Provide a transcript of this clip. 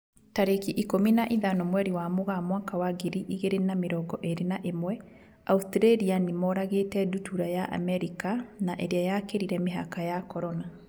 Tarĩki ikũmi na ithano mweri wa Mũgaa mwaka wa ngiri igĩrĩ na mĩrongo ĩrĩ na ĩmwe, Australia nĩmoragĩte ndutura ya Amerika na ĩrĩa yakĩrire mĩhaka ya Corona.